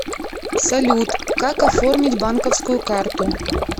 салют как оформить банковскую карту